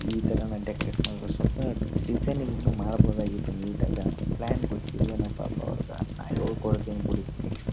ಈ ತರ ನಾನ್ ಡೆಕೋರಟ್ ಸ್ವಪ್ ಡಿಸೈನಿಂಗ್ ಇನ್ನು ಮಾಡಬಹುದಾಗಿತ್ತು ನೀಟ್ ಆಗ್ ಪ್ಲಾನ್ ಗೊತ್ತಿಲ್ಲವೇನೋ ಪಾಪ ಅವ್ರಗ್ ನಾನ್ ಹೇಳ್ಕೊಡತ್ತೀನಿ ಬಿಡಿ ನೆಕ್ಸ್ಟ್ .--